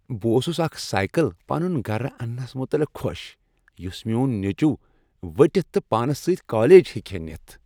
بہٕ اوسُس اکھ سایکل پنُن گرٕ اننس متعلق خوش یُس میون نیچو ؤٹِتھ تہٕ پانس سۭتۍ کالج ہیکہٕ ہا نِتھ ۔